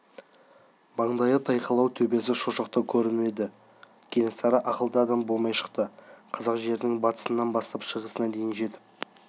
маңдайы тайқылау төбесі шошақтау көрініп еді кенесары ақылды адам болмай шықты қазақ жерінің батысынан бастап шығысына дейін жетіп